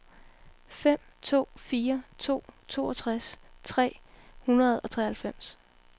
fem to fire to toogtres tre hundrede og treoghalvfems